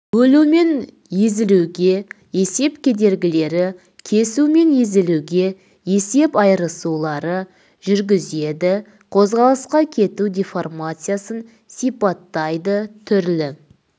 бөлу мен езілуге есеп кедергілері кесу мен езілуге есеп айырысулары жүргізеді қозғалысқа кету деформациясын сипаттайды түрлі